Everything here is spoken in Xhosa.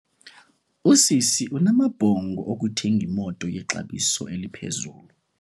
Usisi unamabhongo okuthenga imoto yexabiso eliphezulu.